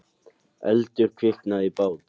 Eldur kviknaði í bát